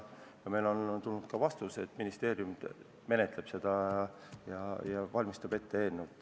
Meile on tulnud ka vastus, et ministeerium menetleb seda ja valmistab ette eelnõu.